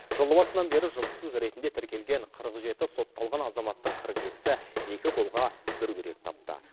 жыл басынан бері жұмыссыз ретінде тіркелген қырық жеті сотталған азаматтың қырық екісі екі қолға бір күрек тапты